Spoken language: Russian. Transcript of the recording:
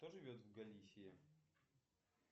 кто живет в галисии